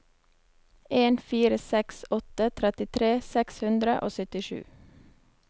en fire seks åtte trettitre seks hundre og syttisju